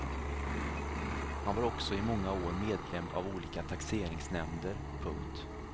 Han var också i många år medlem av olika taxeringsnämnder. punkt